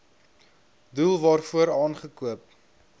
doel waarvoor aangekoop